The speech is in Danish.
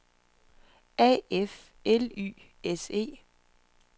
A F L Y S E